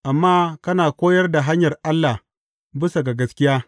Amma kana koyar da hanyar Allah bisa ga gaskiya.